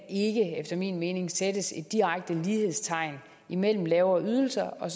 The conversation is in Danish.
efter min mening sættes direkte lighedstegn mellem lavere ydelser og